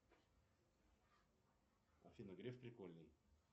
афина греф прикольный